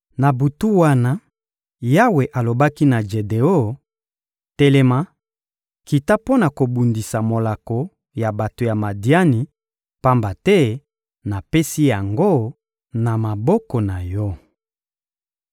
Na butu wana, Yawe alobaki na Jedeon: «Telema, kita mpo na kobundisa molako ya bato ya Madiani, pamba te napesi yango na maboko na yo.